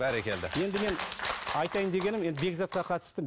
бәрекелді енді мен айтайын дегенім енді бекзатқа қатысты